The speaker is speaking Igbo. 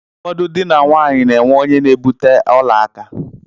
Ụfọdụ dị na nwaanyi na-enwe onye na-ebute ọla aka.